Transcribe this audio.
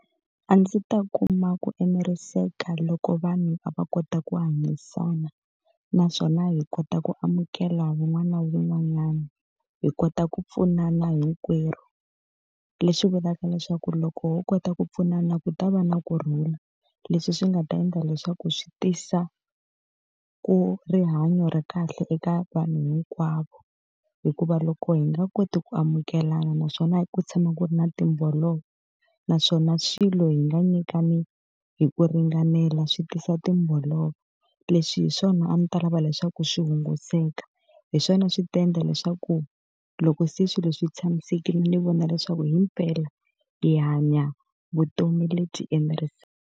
A ndzi ta kuma ku eneriseka loko vanhu a va kota ku hanyisana naswona hi kota ku amukela wun'wana na wun'wanyana, hi kota ku pfunana hinkwerhu. Leswi vulaka leswaku loko ho kota ku pfunana ku ta va na kurhula, leswi swi nga ta endla leswaku swi tisa ku rihanyo ra kahle eka vanhu hinkwavo. Hikuva loko hi nga koti ku amukelana naswona ku tshama ku ri na timbolovo, naswona swilo hi nga nyikana hi ku ringanela swi tisa timbolovo. Leswi hi swona a ndzi ta lava leswaku swi hunguteka. Hi swona swi ta endla leswaku loko se swilo swi tshamisekile ni vona leswaku himpela hi hanya vutomi lebyi enerisaka.